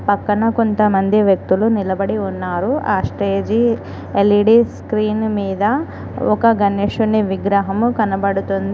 పక్కన కొంతమంది వ్యక్తులు నిలబడి ఉన్నారు ఆ స్టేజి ఎల్_ఈ_డి స్క్రీను మీద ఒక గణేశుని విగ్రహము కనబడుతుంది.